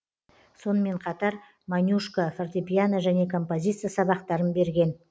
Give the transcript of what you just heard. сонымен қатар монюшко фортепиано және композиция сабақтарын берген